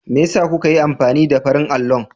Me yasa kuka yi amfani da farin allon?